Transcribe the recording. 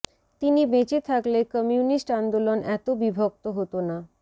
তিনি বেঁচে থাকলে কমিউনিস্ট আন্দোলন এত বিভক্ত হতো না